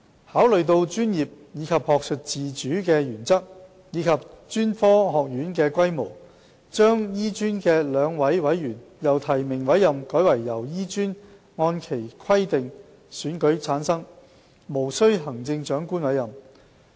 考慮到專業及學術自主的原則和專科學院的規模，醫專的2名委員將由提名委任改為經醫專按其規定選舉產生，無須經由行政長官委任。